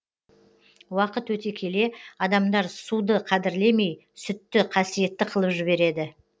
уақыт өте келе адамдар суды қадірлемей сүтті қасиетті қылып жібереді